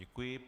Děkuji.